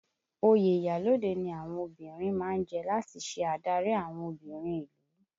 Oyè iyalode ni àwọn obìnrin má ń jẹ láti ṣe adarí àwọn obìnrin ìlú